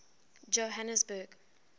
johhanesburg